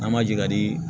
An ma jigi ka di